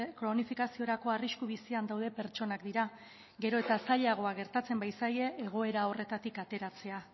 kronifikaziorako arrisku bizian dauden pertsonak dira gero eta zailagoa gertatzen bait zaie egoera hartatik ateratzea